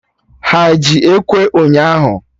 Ha eji Ekwe ụnyaahụ?